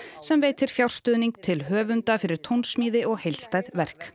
sem veitir fjárstuðning til höfunda fyrir tónsmíði og heildstæð verk